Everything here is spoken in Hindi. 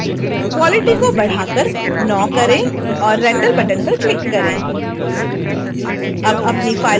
quality को बढ़ा कर 9 करें और render बटन पर क्लिक करें